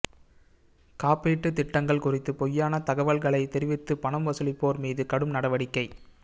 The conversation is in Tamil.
காப்பீட்டுத் திட்டங்கள் குறித்து பொய்யான தகவல்களை தெரிவித்து பணம் வசூலிப்போா் மீது கடும் நடவடிக்கை